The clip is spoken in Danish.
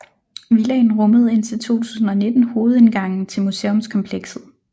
Villaen rummede indtil 2019 hovedindgangen til museumskomplekset